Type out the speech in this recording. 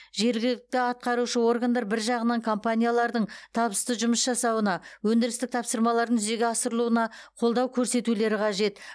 жергілікті атқарушы органдар бір жағынан компаниялардың табысты жұмыс жасауына өндірістік тапсырмалардың жүзеге асырылуына қолдау көрсетулері қажет